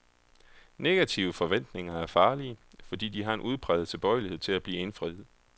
Negative forventninger er farlige, fordi de har en udpræget tilbøjelighed til at blive indfriet.